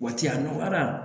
Waati a nɔgɔyara